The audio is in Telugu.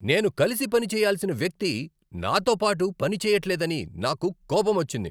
నేను కలిసి పని చేయ్యాల్సిన వ్యక్తి నాతో పాటు పని చెయ్యట్లేదని నాకు కోపమొచ్చింది.